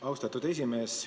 Austatud esimees!